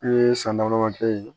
N'u ye san damadɔ kɛ yen